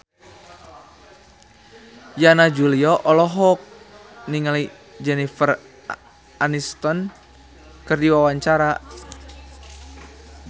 Yana Julio olohok ningali Jennifer Aniston keur diwawancara